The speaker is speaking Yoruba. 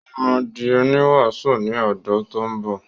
Ó máa di oníwàásù ní odún tó ń bọ̀.